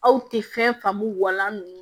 Aw tɛ fɛn faamu wa nn